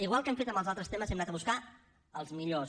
igual que hem fet en els altres temes hem anat a buscar els millors